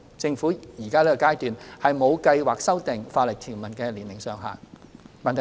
政府現階段沒有計劃修訂法例條文的年齡上限。